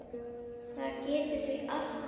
Það getur því allt gerst.